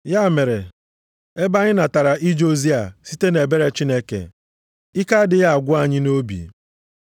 Ya mere, ebe anyị natara ije ozi a site nʼebere Chineke, ike adịghị agwụ anyị nʼobi.